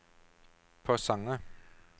Porsanger